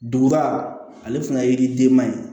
Duguba ale fana ye yiri denba ye